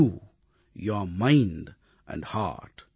you your mind and hurt